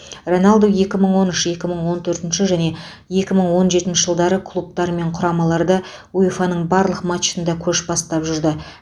роналду екі мың он үш екі мың он төртінші және екі мың он жетінші жылдары клубтар мен құрамаларда уефа ның барлық матчында көш бастап жүрді